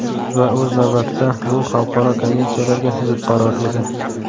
Va o‘z navbatida bu xalqaro konvensiyalarga zid qaror edi.